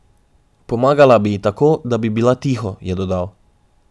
Pomagala bi ji tako, da bi bila tiho, je dodal.